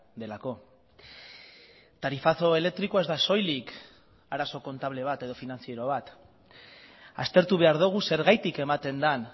delako tarifazo elektrikoa ez da soilik arazo kontable bat edo finantziero bat aztertu behar dugu zergatik ematen den